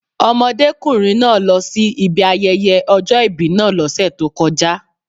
Ọmọdékùnrin náà lọsí ibi ayẹyẹ ọjọ́ ìbí náà lọ́sẹ̀ tó kọjá.